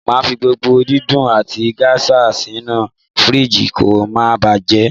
Màá fi àgbàdo dídùn àti géṣà sínú fìríìjì kó ma baà bàjẹ́